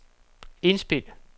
indspil